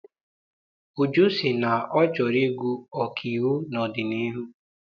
Uju sị na ọ chọrọ ịgụ ọkaiwu n'ọdịnihu.